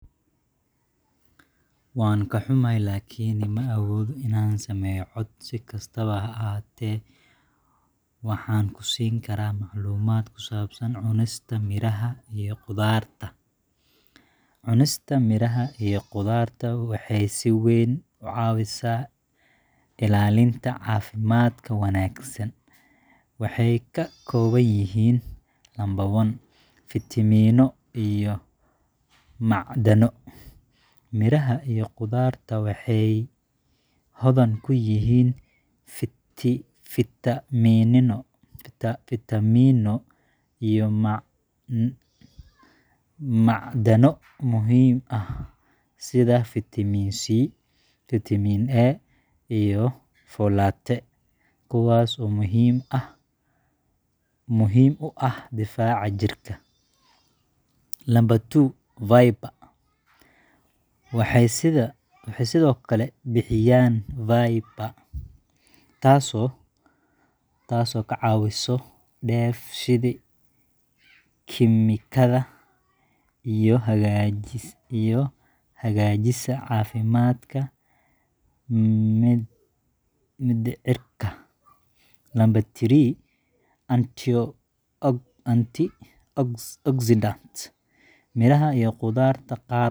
Waan ka xumahay, laakiin ma awoodo inaan sameeyo cod. Si kastaba ha ahaatee, waxaan ku siin karaa macluumaad ku saabsan cunista miraha iyo khudaarta. Cunista miraha iyo khudaarta waxay si weyn u caawisaa ilaalinta caafimaadka wanaagsan. Waxay ka kooban yihiin: 1. Vitamino iyo Macdano**: Miraha iyo khudaarta waxay hodan ku yihiin fitamiinno iyo macdano muhiim ah, sida Vitamin C, Vitamin A, iyo folate, kuwaas oo muhiim u ah difaaca jirka. 2. *Fiber Waxay sidoo kale bixiyaan fiber, taasoo ka caawisa dheef-shiid kiimikaadka oo hagaajisa caafimaadka mindhicirka. 3. Antioxidants Miraha iyo khudaarta qaar waxay ka caafimaadka guud.